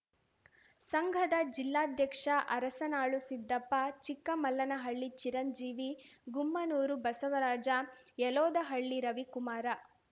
ಸಂಘದ ಜಿಲ್ಲಾಧ್ಯಕ್ಷ ಅರಸನಾಳು ಸಿದ್ದಪ್ಪ ಚಿಕ್ಕಮಲ್ಲನಹಳ್ಳಿ ಚಿರಂಜೀವಿ ಗುಮ್ಮನೂರು ಬಸವರಾಜ ಯಲೋದಹಳ್ಳಿ ರವಿಕುಮಾರ